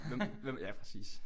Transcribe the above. Hvem hvem ja præcis